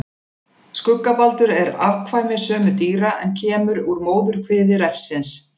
Skuggabaldur er afkvæmi sömu dýra en kemur úr móðurkviði refsins.